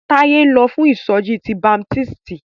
Táyé ń lọ fún ìsọjí ti baptisti.